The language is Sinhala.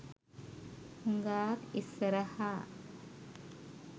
හුගාක් ඉස්සරහා.